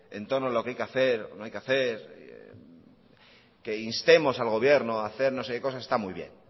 en torno a lo que hay que hacer o no hay que hacer que instemos al gobierno a hacer no sé qué cosas está muy bien